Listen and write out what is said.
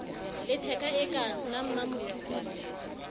letheka e ka la mmamodukule